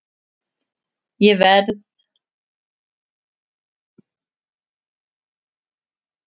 Það verð ég að segja að mér hafa alltaf leiðst hundar.